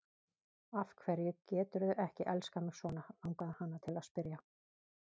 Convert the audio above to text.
Af hverju geturðu ekki elskað mig svona, langaði hana til að spyrja.